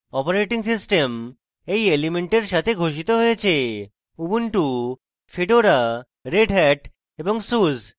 operating systems এই elements সাথে ঘোষিত হয়েছে ubuntu fedora redhat এবং suse